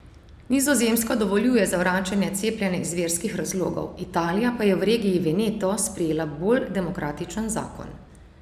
Nizozemska dovoljuje zavračanje cepljenja iz verskih razlogov, Italija pa je v regiji Veneto sprejela bolj demokratičen zakon.